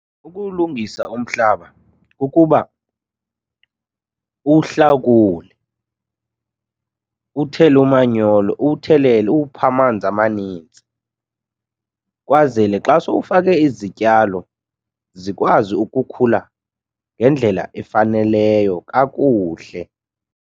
Ukuwulungisa umhlaba kukuba uwuhlakule, uthele umanyolo, uwuthelele uwuphe amanzi amanintsi kwazele xa sowufake izityalo zikwazi ukukhula ngendlela efaneleyo kakuhle.